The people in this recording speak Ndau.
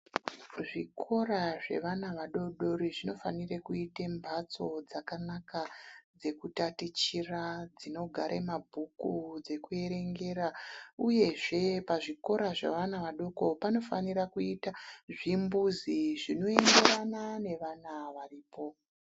Zvikora zvevana vadori-dori zvinofane kuita mhatso dzakanaka dzekutatichira, kugare mabhuku, dzekuerengera uyezve pazvikora zvevana vadoko panofanira kuita zvimbuzi zvinoenderana nevana varipo.